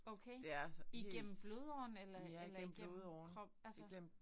Okay. Igennem blodåren eller eller igennem krop altså